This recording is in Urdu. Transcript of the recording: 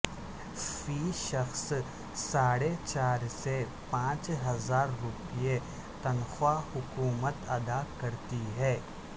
فی شخص ساڑھے چار سے پانچ ہزار روپے تنخواہ حکومت ادا کرتی ہے